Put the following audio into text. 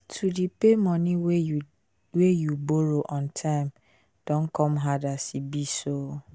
to dey pay money wey you you borrow on time don come hard as e dey so